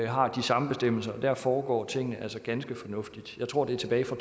har de samme bestemmelser og der foregår tingene altså ganske fornuftigt jeg tror det er tilbage fra